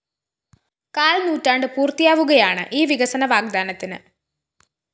കാല്‍നൂറ്റാണ്ട് പൂര്‍ത്തിയാവുകയാണ് ഈ വികസന വാഗ്ദാനത്തിന്